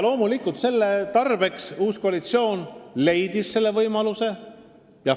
Loomulikult, selle tarbeks leidis uus koalitsioon võimaluse 60 miljoni euro suuruseks lisainvesteeringuks.